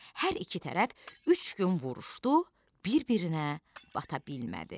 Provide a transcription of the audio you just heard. Hər iki tərəf üç gün vuruşdu, bir-birinə bata bilmədi.